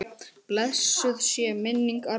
Blessuð sé minning Arnórs.